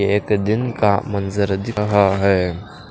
एक दिन का मंजर दिख रहा है।